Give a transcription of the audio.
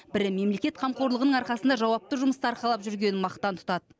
бірі мемлекет қамқорлығының арқасында жауапты жұмысты арқалап жүргенін мақтан тұтады